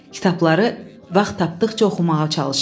Kitabları vaxt tapdıqca oxumağa çalışırdı.